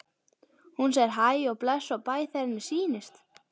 Hún segir hæ og bless og bæ þegar henni sýnist!